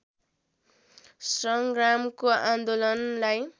सङ्ग्रामको आन्दोलनलाई